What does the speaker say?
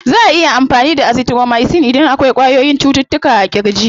Za'a iya amfani da azithromicin idan akwai ƙwayoyyin cututtuka a ƙirji.